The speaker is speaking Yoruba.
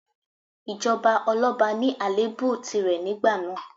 Ìjọba ọlọ́ba ní àléébù tìrẹ nígbà náà.